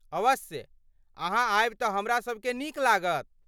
अवश्य, अहाँ आयब तँ हमरासभकेँ नीक लागत।